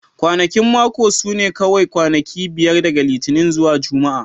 Kwanakin mako su ne kawai kwanaki biyar daga Litinin zuwa Juma'a